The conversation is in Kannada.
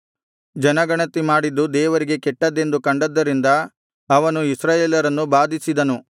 ಜನಗಣತಿ ಮಾಡಿದ್ದು ದೇವರಿಗೆ ಕೆಟ್ಟದ್ದೆಂದು ಕಂಡದ್ದರಿಂದ ಆತನು ಇಸ್ರಾಯೇಲರನ್ನು ಬಾಧಿಸಿದನು